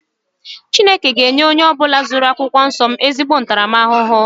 Chineke ga enye onye ọbula zuru akwụkwọ nsọ m ezigbo ntaramahụhụ.